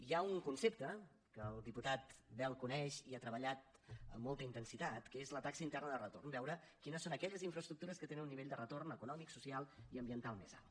hi ha un concepte que el diputat bel coneix i hi ha treballat amb molta intensitat que és la taxa interna de retorn veure quines són aquelles infraestructures que tenen un nivell de retorn econòmic social i ambiental més alt